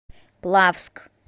плавск